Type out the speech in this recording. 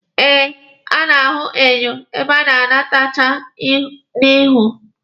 E a na-ahụ enyo ebe a na-etecha ihu.